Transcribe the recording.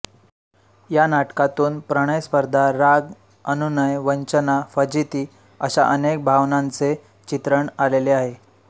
या नाटकातून प्रणय स्पर्धा राग अनुनय वंचना फजिती अशा अनेक भावनांचे चित्रण आलेले आहे